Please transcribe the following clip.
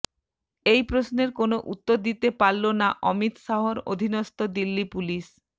এই প্রশ্নের কোনও উত্তর দিতে পারল না অমিত শাহর অধীনস্থ দিল্লি পুলিশ